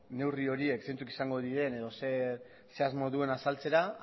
neurri horiek zeintzuk izango diren edo zer asmo duen azaltzera